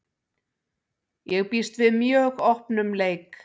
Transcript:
Ég býst við mjög opnum leik.